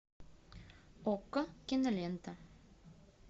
окко кинолента